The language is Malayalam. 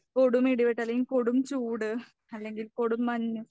കൊടും ഇടിവെട്ട് അല്ലെങ്കിൽ കൊടും ചൂട് അല്ലെങ്കിൽ കൊടും മഞ്ഞ്